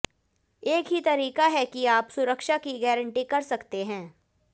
एक ही तरीका है कि आप सुरक्षा की गारंटी कर सकते हैं